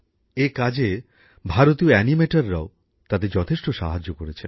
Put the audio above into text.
এ কাজে ভারতীয় অ্যানিমেটররাও তাদের যথেষ্ট সাহায্য করেছেন